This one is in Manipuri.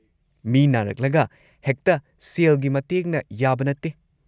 ꯃꯤ ꯅꯥꯔꯛꯂꯒ ꯍꯦꯛꯇ ꯁꯦꯜꯒꯤ ꯃꯇꯦꯡꯅ ꯌꯥꯕ ꯅꯠꯇꯦ꯫